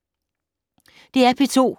DR P2